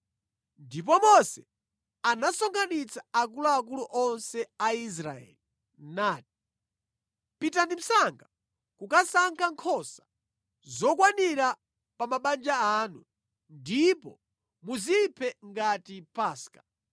Ndipo Mose anasonkhanitsa akuluakulu onse a Israeli nati, “Pitani msanga kukasankha nkhosa zokwanira pa mabanja anu, ndipo muziphe ngati Paska.